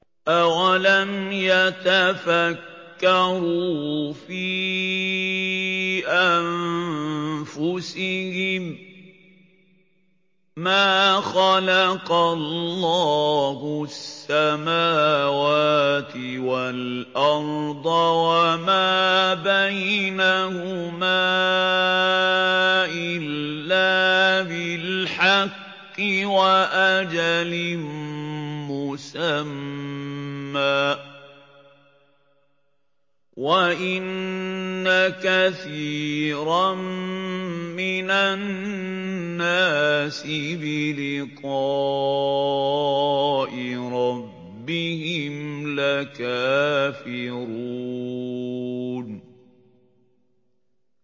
أَوَلَمْ يَتَفَكَّرُوا فِي أَنفُسِهِم ۗ مَّا خَلَقَ اللَّهُ السَّمَاوَاتِ وَالْأَرْضَ وَمَا بَيْنَهُمَا إِلَّا بِالْحَقِّ وَأَجَلٍ مُّسَمًّى ۗ وَإِنَّ كَثِيرًا مِّنَ النَّاسِ بِلِقَاءِ رَبِّهِمْ لَكَافِرُونَ